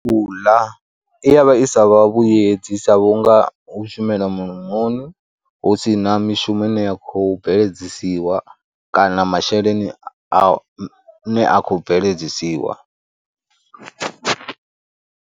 U ḽa i ya vha i sa vha vhuyedzi sa vhunga hu shumela mulomoni hu si na mishumo ine ya khou bveledzisiwa kana masheleni ane a khou bveledzisiwa.